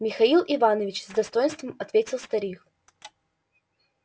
михаил иванович с достоинством ответил старик